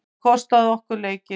Það kostaði okkur leikinn.